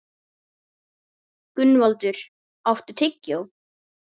Gunnvaldur, áttu tyggjó?